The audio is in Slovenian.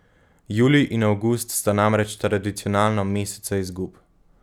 Julij in avgust sta namreč tradicionalno meseca izgub.